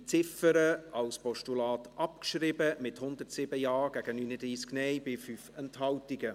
Sie haben diese Ziffer als Postulat abgeschrieben, mit 107 Ja- gegen 39 Nein-Stimmen bei 5 Enthaltungen.